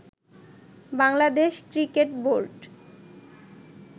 Bangladesh cricket board